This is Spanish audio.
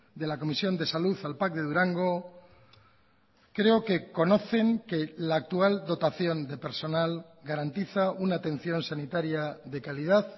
de la comisión de salud al pac de durango creo que conocen que la actual dotación de personal garantiza una atención sanitaria de calidad